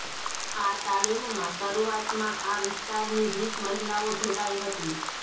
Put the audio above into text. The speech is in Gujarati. આ તાલીમમાં શરૂઆતમાં આ વિસ્તારની વીસ મહિલાઓ જોડાઈ હતી